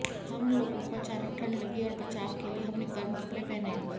हम लोगों को अचानक ठंड लगी और बचाव के लिए हमने गर्म कपड़े पहने